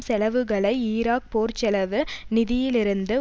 செலவுகளை ஈராக் போர்ச்செலவு நிதியிலிருந்து